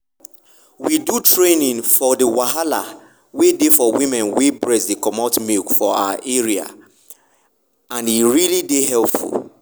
we do traning for the wahala wey dey for women wey breast dey comot milk for our area and e really dey helpful.